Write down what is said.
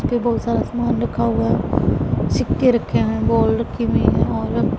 इसके बहुत सारा समान रखा हुआ है सिक्के रखे हैं बॉल रखी हुई हैं और--